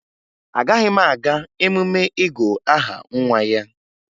Agaghị m aga emume ịgụ aha nwa ya